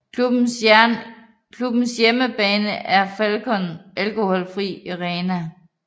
Klubbens hjemmebane er Falcon Alkoholfri Arena